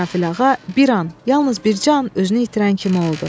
İsrafil ağa bir an, yalnız bircə an özünü itirən kimi oldu.